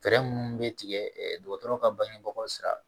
Fɛɛrɛ minnu bɛ tigɛ dɔgɔtɔrɔ ka bangebagaw sira